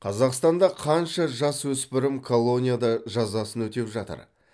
қазақстанда қанша жасөспірім колонияда жазасын өтеп жатыр